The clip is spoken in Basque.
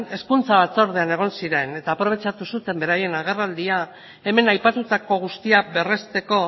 hezkuntza batzordean egon ziren eta aprobetxatu zuten beraien agerraldia hemen aipatutako guztia berresteko